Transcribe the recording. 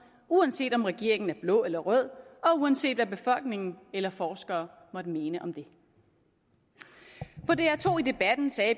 uanset om regeringen er blå eller rød og uanset hvad befolkningen eller forskere måtte mene om det på dr to i debatten sagde